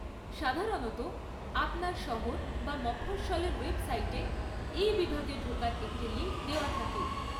সাধারণত, আপনার শহর বা মফস্বলের ওয়েবসাইটে এই বিভাগে ঢোকার একটি লিঙ্ক দেওয়া থাকে।